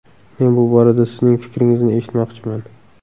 Men bu borada sizning fikringizni eshitmoqchiman.